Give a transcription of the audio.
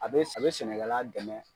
A bɛ a bɛ sɛnɛkɛla dɛmɛ.